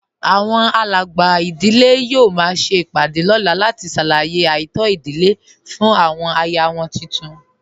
Àwọn alàgbà ìdílé yóò máa ṣe ìpàdé lọ́la láti ṣàlàyé ààtò ìdílé fún àwọn aya wọn tuntun